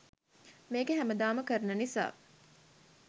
මේක හැමදාම කරන නිසා